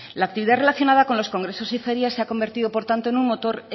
la actividad relacionada con los congresos y ferias se ha convertido por lo tanto en un motor